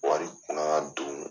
Wari kun ka kan ka don